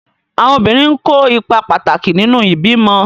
Àwọn obìnrin n kó ipa pàtàkì nínu ìbímọ